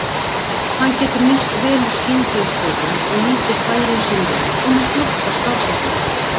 Hann getur nýst vel í skyndiupphlaupum og nýtir færin sín vel og með flottar staðsetningar.